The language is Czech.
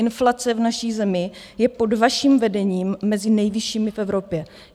Inflace v naší zemi je pod vaším vedením mezi nejvyššími v Evropě.